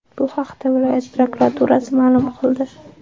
Bu haqda viloyat prokuraturasi ma’lum qildi .